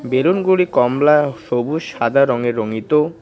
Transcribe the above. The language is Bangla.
বেলুনগুলি কমলা ও সবুস সাদা রঙে রঙিতো ।